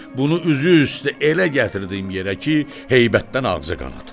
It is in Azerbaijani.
Bunu üzü üstə elə gətirdim yerə ki, heybətdən ağzı qanad.